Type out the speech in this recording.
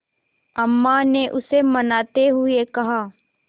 अम्मा ने उसे मनाते हुए कहा